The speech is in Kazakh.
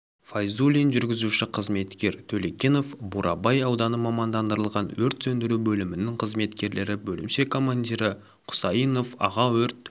файзулин жүргізуші-қызметкер төлегенов бурабай ауданы мамандандырылған өрт сөндіру бөлімінің қызметкерлері бөлімше командирі құсайынов аға өрт